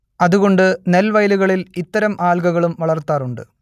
അതുകൊണ്ട് നെൽവയലുകളിൽ ഇത്തരം ആൽഗകളും വളർത്താറുണ്ട്